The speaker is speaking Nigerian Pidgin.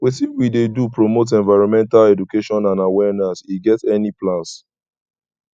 wetin we dey do promote environmental education and awaereness we get any plans